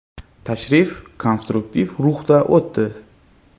Tashrif konstruktiv ruhda o‘tdi.